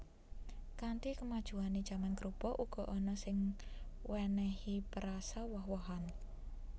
Kanthi kemajuané jaman krupuk uga ana sing wènèhi perasa woh wohan